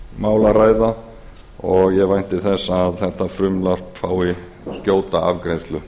mikið jafnréttismál að ræða og ég vænti þess að þetta frumvarp fái skjóta afgreiðslu